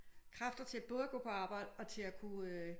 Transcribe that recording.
Kræfter til både at gå på arbejde og til at kunne